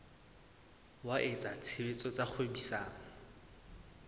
wa etsa tshebetso tsa kgwebisano